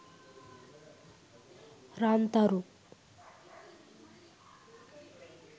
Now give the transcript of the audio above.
rantharu